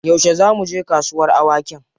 Yaushe za mu je kasuwar awakin?